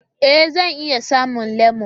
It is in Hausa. Ee! Zan iya samun lemo